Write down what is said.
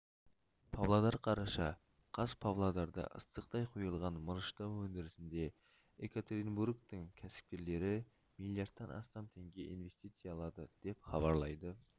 павлодар қараша қаз павлодарда ыстықтай құйылған мырыштау өндірісінде екатеринбургтің кәсіпкерлері миллиардтан астам теңге инвестициялады деп хабарлайды